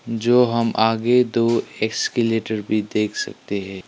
जो हम आगे दो एस्केलेटर भी देख सकते हैं।